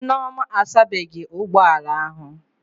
Nneoma asabeghị ụgbọ ala ahụ